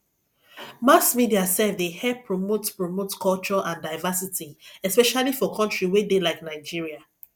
mass media sef dey help promote promote culture and diversity especially for country wey dey like nigeria